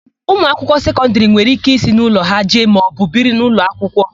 Ụmụakwụkwọ sekọndịrị nwere íké isi n'ụlọ ha eje maọbụ biri n'ụlọakwụkwọ.